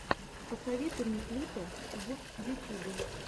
посоветуй мне клипы в ютюбе